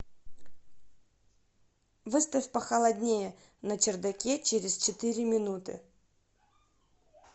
выставь похолоднее на чердаке через четыре минуты